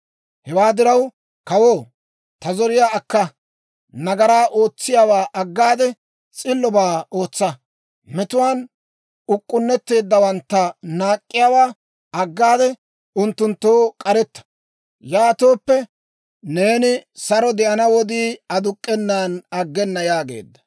Hewaa diraw, kawoo, ta zoriyaa akka. Nagaraa ootsiyaawaa aggaade, s'illobaa ootsa; metuwaan uk'k'unnetteeddawantta naak'k'iyaawaa aggaade, unttunttoo k'aretta. Yaatooppe, neeni saro de'ana wodii aduk'k'enan aggena» yaageedda.